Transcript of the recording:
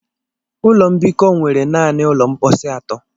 Ụlọ mbikọ nwere naanị ụlọ mposi atọ.